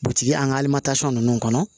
Butigi an ka ninnu kɔnɔ